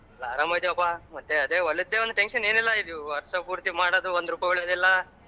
ಎಲ್ಲ ಅರಾಮಿದಿವಪ್ಪ ಮತ್ತೆ ಅದೇ ಹೊಲದೇ ಒಂದ್ tension ಏನಿಲ್ಲ ಇದು ವರ್ಷ ಪೂರ್ತಿ ಮಾಡೋದು ಒಂದರೂಪಾಯಿ ಉಳಿಯೋದಿಲ್ಲ.